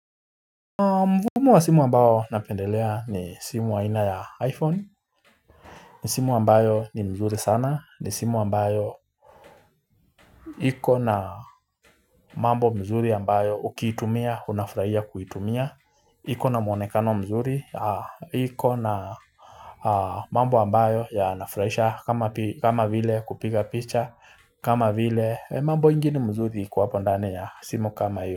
Mvumo wa simu ambayo napendelea ni simu haina ya iPhone, ni simu ambayo ni mzuri sana, ni simu ambayo iko na mambo mzuri ambayo ukiitumia, unafurahia kuitumia, iko na mwonekano mzuri, iko na mambo ambayo ya nafuraisha kama vile kupiga picha, kama vile mambo ingine mzuri iko hapo ndani ya simu kama iyo.